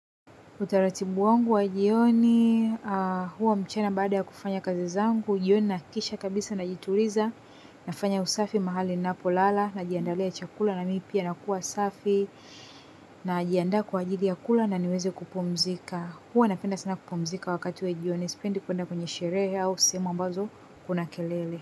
Utaratibu wangu wa jioni, huwa mchana baada ya kufanya kazi zangu, jioni nakikisha kabisa najituliza, nafanya usafi mahali napolala, najiandalia chakula na mipia nakua safi, najiaanda kwa ajili ya kula na niweze kupumzika. Huwa napenda sana kupumzika wakati wa jioni sipendi kwenda sherehe au sehemu ambazo kuna kelele.